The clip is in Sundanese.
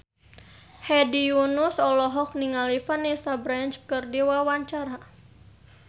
Hedi Yunus olohok ningali Vanessa Branch keur diwawancara